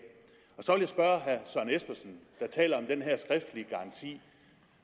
så vil jeg spørge herre søren espersen der taler om den her skriftlige garanti